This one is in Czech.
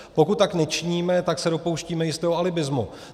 Pokud tak nečiníme, tak se dopouštíme jistého alibismu.